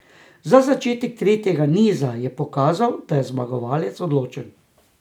Že začetek tretjega niza je pokazal, da je zmagovalec odločen.